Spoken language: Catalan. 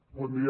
bon dia